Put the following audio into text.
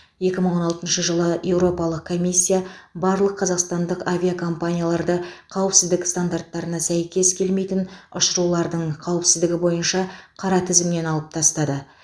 екі мың он алтыншы жылы еуропалық комиссия барлық қазақстандық авиакомпанияларды қауіпсіздік стандарттарына сәйкес келмейтін ұшырулардың қауіпсіздігі бойынша қара тізімнен алып тастады